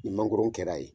Ni mangoron kɛra yen